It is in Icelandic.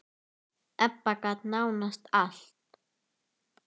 Ebba gat nánast allt.